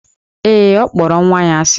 Ee, ọ kpọrọ nwa ya asị.